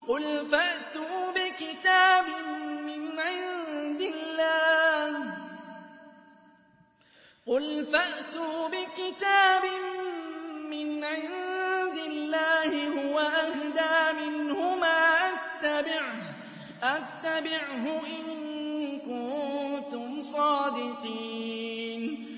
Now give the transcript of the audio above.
قُلْ فَأْتُوا بِكِتَابٍ مِّنْ عِندِ اللَّهِ هُوَ أَهْدَىٰ مِنْهُمَا أَتَّبِعْهُ إِن كُنتُمْ صَادِقِينَ